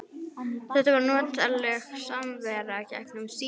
Þetta var notaleg samvera gegnum símann.